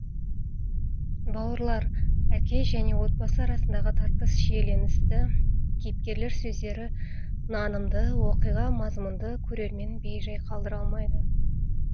бауырлар әке және отбасы арасындағы тартыс шиеленісті кейіпкерлер сөздері нанымды оқиға мазмұнды көрерменін бей жай қалдыра алмайды